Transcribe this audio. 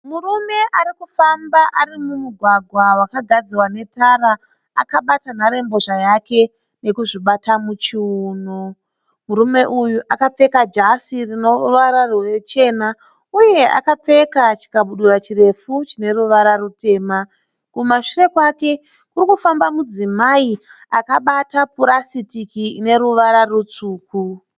Murume ari kufamba ari mumugwagwa wakagadzirwa netara akabata nharembozha yake nekuzvibata muchiuno. Murume uyu akapfeka jasi rine ruvara ruchena uye akapfeka chikabudura chirefu chine ruvara rutema. Kumashure kwake kurikufamba mudzimai akabata purasitiki rine ruvara rutsvuku.